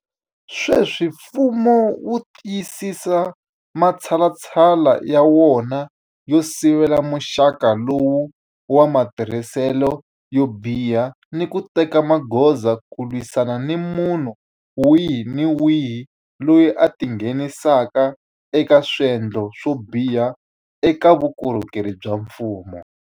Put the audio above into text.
Sweswi mfumo wu tiyisisa matshalatshala ya wona yo sivela muxaka lowu wa matirhiselo yo biha ni ku teka magoza ku lwisana ni munhu wihi ni wihi loyi a tingheni saka eka swendlo swo biha eka vukorhokeri bya mfumo.